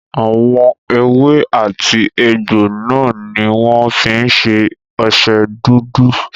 Àwọn èwe àti egbò náà ní wọ́n fí ń ṣe ọṣẹ dúdú.